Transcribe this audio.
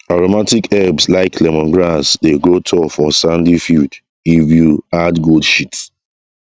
aromatic herbs like lemongrass dey grow tall for sandy field if you add goat shit